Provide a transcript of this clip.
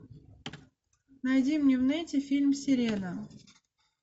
найди мне в нете фильм сирена